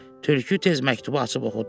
Tülkü tez məktubu açıb oxudu.